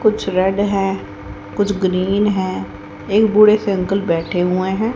कुछ रेड है कुछ ग्रीन है एक बूढ़े से अंकल बैठे हुए हैं।